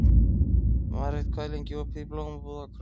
Marit, hvað er lengi opið í Blómabúð Akureyrar?